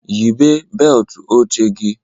Yịbee beelt oche gị